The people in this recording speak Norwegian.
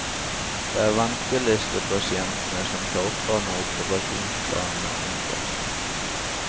Det er ventelistepasientene som taper når operasjonsplanene endres.